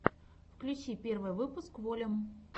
включи первый выпуск волюм